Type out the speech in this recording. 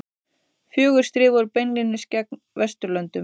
Fjögur stríð voru beinlínis gegn Vesturlöndum.